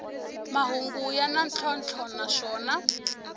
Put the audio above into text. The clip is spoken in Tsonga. mahungu ya na ntlhontlho naswona